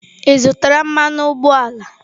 Ị zụtara mmanụ ụgbọala?.